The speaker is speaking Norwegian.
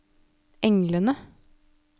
englene